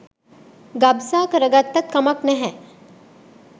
ගබ්සා කරගත්තත් කමක් නැහ